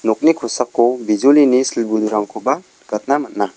nokni kosako bijolini sil budurangkoba nikatna man·a.